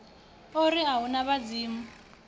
ori a hu na vhadzimu